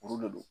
Kuru de don